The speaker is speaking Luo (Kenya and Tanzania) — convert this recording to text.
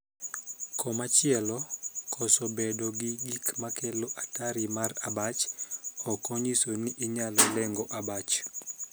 Koma chielo, koso bedo gi gik makelo atari mar abach ok onyiso ni inyal leng'o abach.